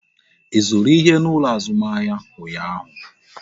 Ị zụrụ ihe n'ụlọ azụmahịa ụnyaahụ?